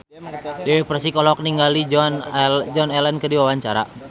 Dewi Persik olohok ningali Joan Allen keur diwawancara